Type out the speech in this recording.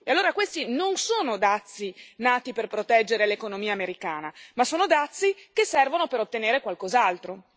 E allora questi non sono dazi nati per proteggere l'economia americana, ma sono dazi che servono per ottenere qualcos'altro.